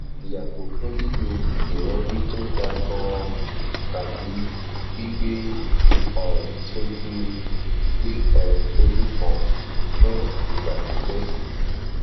yago fun lilo irori to ga gan an tabi gbigbe orun soju gbigbe orun soju kan fun igba pipe